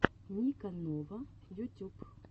ника нова ютюб